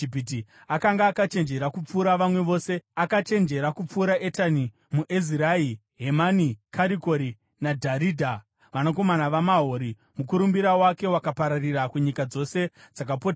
Akanga akachenjera kupfuura vamwe vose; akachenjera kupfuura Etani muEzrahi, Hemani, Karikori, naDharidha, vanakomana vaMahori. Mukurumbira wake wakapararira kunyika dzose dzakapoteredza.